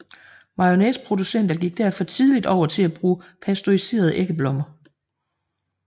Mayonnaiseproducenter gik derfor tidligt over til at bruge pasteuriserede æggeblommer